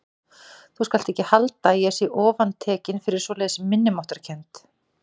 Þú skalt ekki halda að ég sé ofantekinn fyrir svoleiðis minnimáttarkennd.